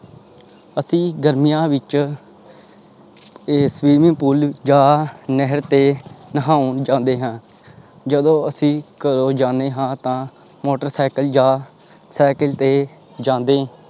ਅਸੀਂ ਗਰਮੀਆਂ ਵਿੱਚ ਇਹ swimming pool ਜਾਂ ਨਹਿਰ ਤੇ ਨਹਾਉਣ ਜਾਂਦੇ ਹਾਂ ਜਦੋਂ ਅਸੀਂ ਘਰੋਂ ਜਾਂਦੇ ਹਾਂ ਤਾਂ ਮੋਟਰ ਸਾਇਕਲ ਜਾਂ ਸਾਇਕਲ ਤੇ ਜਾਂਦੇ